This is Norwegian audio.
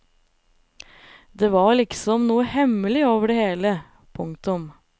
Det var liksom noe hemmelig over det hele. punktum